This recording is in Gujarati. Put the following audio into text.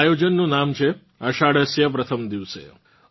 આ આયોજનનું નામ છે આષાઢસ્ય પ્રથમ દિવસે